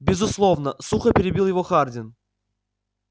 безусловно сухо перебил его хардин